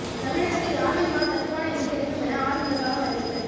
தமிழகத்தில் ஆவின் பால் தட்டுப்பாடின்றி கிடைக்கும் என ஆவின் நிர்வாகம் அறிவிப்பு